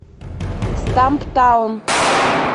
стамптаун